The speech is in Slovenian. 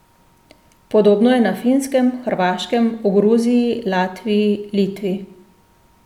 Podobno je na Finskem, Hrvaškem, v Gruziji, Latviji, Litvi ...